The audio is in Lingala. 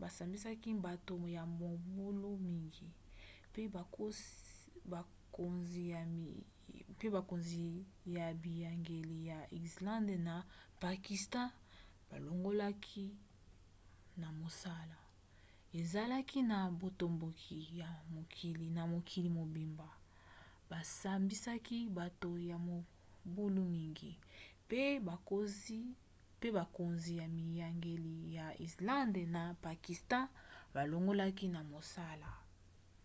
basambisaki bato ya mobulu mingi mpe bakonzi ya biyangeli ya islande na ya pakistan balongolaki na mosala